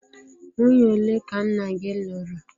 Nwunye ole ka nna gị lụrụ?